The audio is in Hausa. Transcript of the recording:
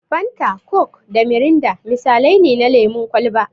Fanta, coke da mirinda misalai ne na lemun kwalba.